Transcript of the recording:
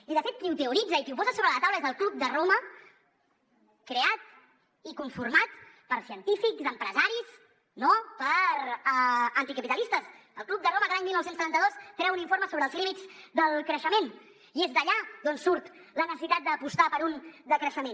i de fet qui ho teoritza i qui ho posa sobre la taula és el club de roma creat i conformat per científics empresaris no per anticapitalistes el club de roma que l’any dinou setanta dos treu un informe sobre els límits del creixement i és d’allà d’on surt la necessitat d’apostar per un decreixement